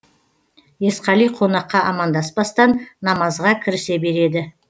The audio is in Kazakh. есқали конаққа амандаспастан намазға кірісе береді